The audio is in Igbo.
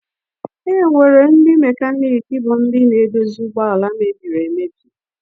Enwere ndị mekaniki bụ ndị na-edozi ụgbọala mebiri emebi.